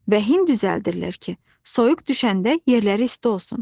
Və hin düzəldirlər ki, soyuq düşəndə yerləri isti olsun.